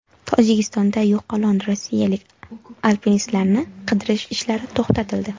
Tojikistonda yo‘qolgan rossiyalik alpinistlarni qidirish ishlari to‘xtatildi.